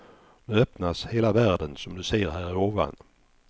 Nu öppnas hela världen, som du ser här ovan.